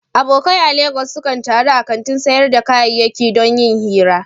Abokai a Legas sukan taru a kantin sayar da kayayyaki don yin hira.